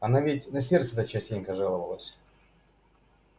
она ведь на сердце-то частенько жаловалась